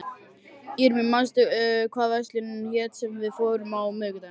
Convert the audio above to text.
Irmý, manstu hvað verslunin hét sem við fórum í á miðvikudaginn?